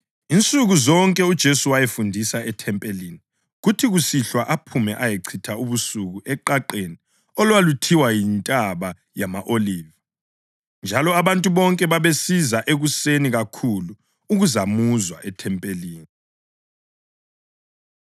Hlalani lilindile, likhulekele ukuthi liphephe kukho konke osekuzakwenzeka masinyane, lokuthi libe lamandla okuma phambi kweNdodana yoMuntu.”